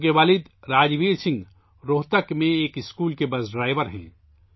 تنو کے والد راجبیر سنگھ روہتک میں اسکول بس ڈرائیور ہیں